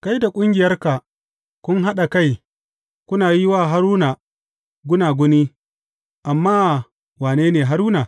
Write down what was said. Kai da ƙungiyarka kun haɗa kai kuna yi wa Haruna gunaguni, amma wane ne Haruna?